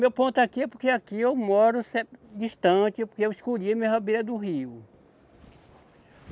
Meu ponto aqui é porque aqui eu moro sempre distante, porque eu escolhi a minha rabeira do rio.